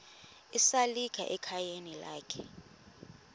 esalika ekhayeni lakhe